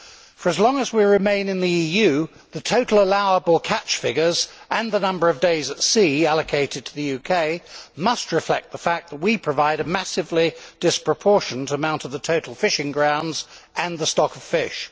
For as long as we remain in the EU, the total allowable catch figures and the number of days at sea allocated to the UK must reflect the fact that we provide a massively disproportionate amount of the total fishing grounds and the stock of fish.